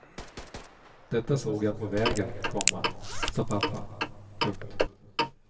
Detta såg jag på vägen, komma sa pappa. punkt